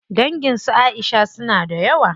Dangin su Aisha suna da yawa.